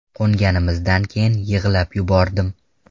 Qo‘nganimizdan keyin yig‘lab yubordim.